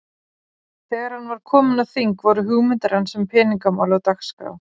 Þegar hann var kominn á þing, voru hugmyndir hans um peningamál á dagskrá.